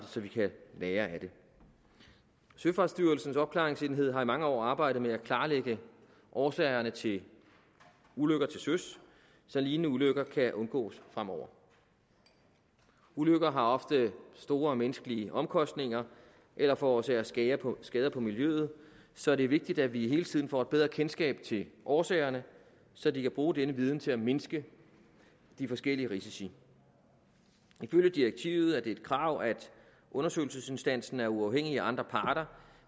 så vi kan lære af det søfartsstyrelsens opklaringsenhed har i mange år arbejdet med at klarlægge årsagerne til ulykker til søs så lignende ulykker kan undgås fremover ulykker har ofte store menneskelige omkostninger eller forårsager skader på skader på miljøet så det er vigtigt at vi hele tiden får et bedre kendskab til årsagerne så de kan bruge denne viden til at mindske de forskellige risici ifølge direktivet er det et krav at undersøgelsesinstansen er uafhængig af andre parter